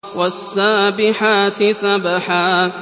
وَالسَّابِحَاتِ سَبْحًا